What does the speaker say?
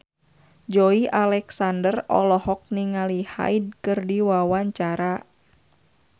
Joey Alexander olohok ningali Hyde keur diwawancara